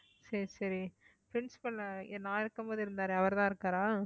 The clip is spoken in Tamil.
சரி சரி principal நான் இருக்கும்போது இருந்தாரே அவர்தான் இருக்காரா